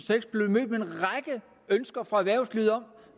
og ønsker fra erhvervslivet om